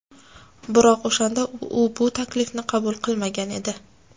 Biroq o‘shanda u bu taklifni qabul qilmagan edi.